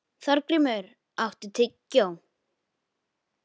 Þorgrímur, áttu tyggjó?